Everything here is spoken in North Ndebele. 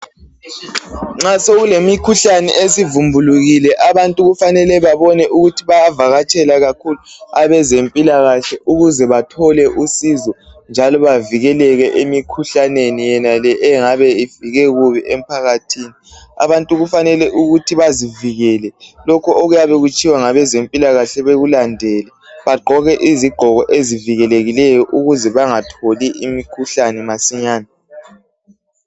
Nxa sokulemikhuhlane esivumbulukile abantu kufanele babone ukuthi bayakatshela kakhulu abezempilakahle ukuze bathole usizo njalo bavikeleke emikhuhlaneni yonale engabe ifike kubi emphakathini abantu kufanele bazivikele lokho okuyabekutshiwo ngabezempilakahle bakulandele njalo bagqoke izigqoko ezivikelekileyo ukuze bangatholi imikhuhlane masinyane.